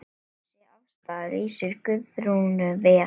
Þessi afstaða lýsir Guðrúnu vel.